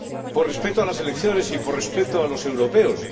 por respeto a las elecciones y por respeto a los europeos.